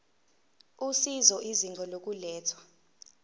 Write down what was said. usizo izinga lokulethwa